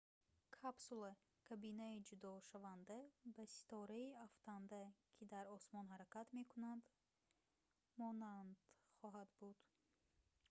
капсула кабинаи ҷудошаванда ба ситораи афтанда ки дар осмон ҳаракат мекунад монанд хоҳад буд